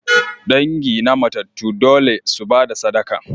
Dangi na matattu dole su ba da sadaka.